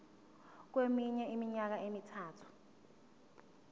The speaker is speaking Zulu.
kweminye iminyaka emithathu